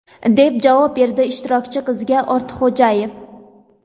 deb javob berdi ishtirokchi qizga Ortiqxo‘jayev.